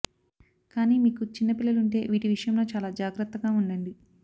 కానీ మీకు చిన్న పిల్లలుంటే వీటి విషయంలో చాలా జాగ్రత్తగా ఉండండి